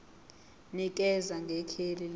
nikeza ngekheli lendawo